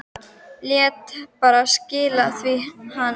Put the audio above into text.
Lét bara skila því til hans!